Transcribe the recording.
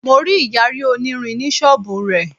Mo rí Ìyàrí onírin ní ṣọ́bùù rẹ̀.